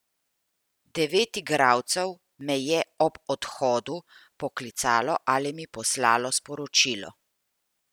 Devet igralcev me je ob odhodu poklicalo ali mi poslalo sporočilo.